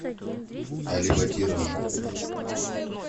алибатирова